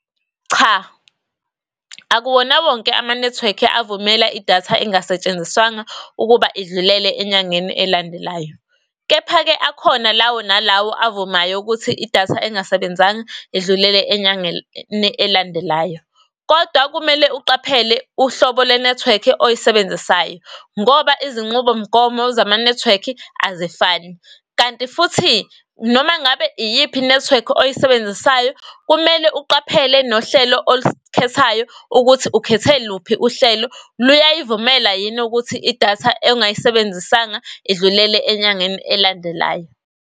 Cha, akuwona wonke ama-network avumela idatha engasetshenziswanga ukuba idlulele enyangeni elandelayo. Kepha-ke akhona lawo nalawo avumayo ukuthi idatha engasebenzanga idlulele enyangeni elandelayo. Kodwa kumele uqaphele uhlobo lwe-network oyisebenzisayo. Ngoba izinqubomgomo zama-network azifani. Kanti futhi noma ngabe iyiphi i-network oyisebenzisayo kumele uqaphele nohlelo olukhethayo ukuthi ukhethe luphi uhlelo, luyayivumela yini ukuthi idatha ongayisebenzisanga idlulele enyangeni elandelayo?